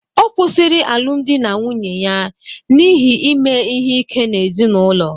Ọ kwụsịrị alụmdi na nwunye ya n'ihi ime ihe ike n'ezinụlọ